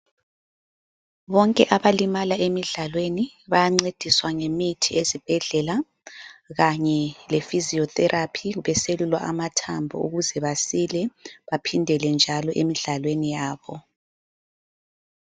Bonke abalimala emidlalweni ,bayancediswa ngemithi ezibhedlela. Kanye le physiotherapy beselulwa amathambo ,ukuze basile baphindele njalo emidlalweni yabo.